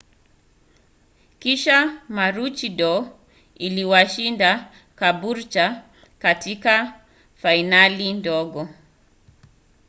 kisha maroochydore iliwashinda caboolture katika fainali ndogo